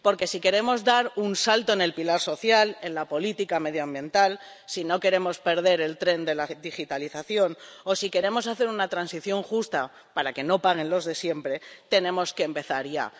Porque, si queremos dar un salto en el pilar social, en la política medioambiental, si no queremos perder el tren de la digitalización o si queremos hacer una transición justa para que no paguen los de siempre, tenemos que empezar ya.